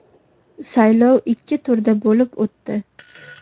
Saylov ikki turda bo‘lib o‘tdi.